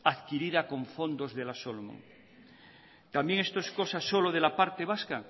adquirida con fondos de la solomon también esto es cosa solo de la parte vasca